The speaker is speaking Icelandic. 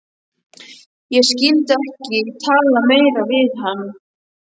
Ég skyldi ekki tala meira við hann.